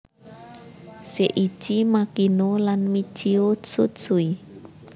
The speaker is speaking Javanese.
Seiichi Makino lan Michio Tsutsui